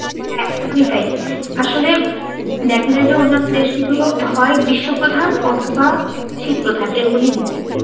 হ্যাঁ, একদমই তাই। আসলে দেখা যায় অন্যান্য দেশগুলো হয় গ্রীস্ম প্রধান অথবা শীত প্রধান এরকমই হয়ে থাকে।